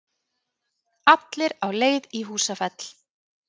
Allir á leið í Húsafell.